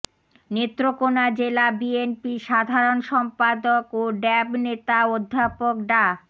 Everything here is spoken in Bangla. নেত্রকোনা জেলা বিএনপির সাধারণ সম্পাদক ও ড্যাব নেতা অধ্যাপক ডা